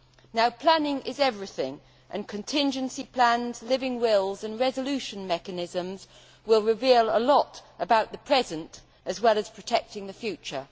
Now, planning is everything, and contingency plans, living wills and resolution mechanisms will reveal a lot about the present as well as protecting the future.